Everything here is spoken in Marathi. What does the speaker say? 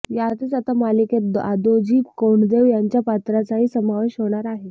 यातच आता मालिकेत दादोजी कोंडदेव यांच्या पात्राचाही समावेश होणार आहे